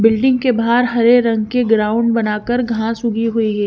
Building के बहार हरे रंग की ग्राउंड बना कर घास उगी हुई है।